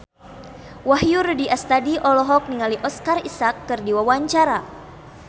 Wahyu Rudi Astadi olohok ningali Oscar Isaac keur diwawancara